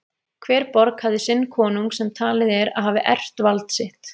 Hver borg hafði sinn konung sem talið er að hafi erft vald sitt.